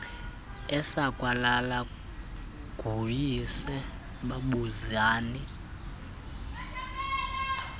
esakwalelwa nguyise buzani